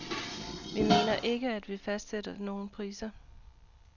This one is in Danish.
Vi mener ikke, at vi fastsætter nogle priser.